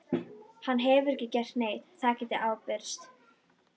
Hann hefur ekki gert neitt, það get ég ábyrgst.